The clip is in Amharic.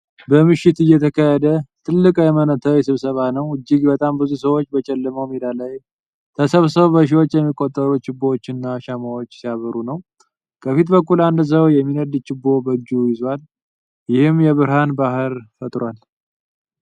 በምሽት የተካሄደ ትልቅ የሃይማኖታዊ ስብሰባ ነው። እጅግ በጣም ብዙ ሰዎች በጨለማው ሜዳ ላይ ተሰብስበው በሺዎች የሚቆጠሩ ችቦዎች እና ሻማዎች ሲያበሩ ነው። ከፊት በኩል አንድ ሰው የሚነድ ችቦ በእጁ ይዟል፣ ይህም የብርሃን ባህር ይፈጥራል።